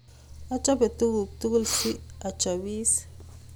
Achope tuguk tugul si achopis